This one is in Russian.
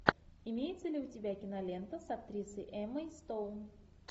имеется ли у тебя кинолента с актрисой эммой стоун